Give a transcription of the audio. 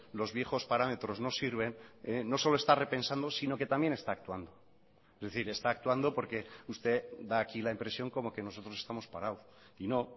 los viejos parámetros no sirven no solo está repensando sino que también está actuando es decir está actuando porque usted da aquí la impresión como que nosotros estamos parados y no